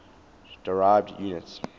derived units